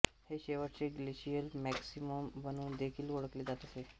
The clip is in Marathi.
हे शेवटचे ग्लेशियल मॅक्सिमम म्हणून देखील ओळखले जात असे